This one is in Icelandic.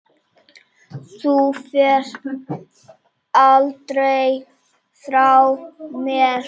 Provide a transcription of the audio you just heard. Þú ferð aldrei frá mér.